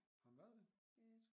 Har han været det?